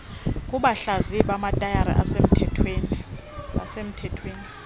kubahlaziyi bamatayara abasemthethweni